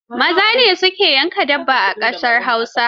Maza ne su ke yanka dabba a ƙasar Hausa.